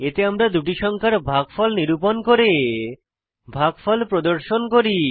এতে আমরা দুটি সংখ্যার ভাগফল নিরূপণ করে ভাগফল প্রদর্শন করি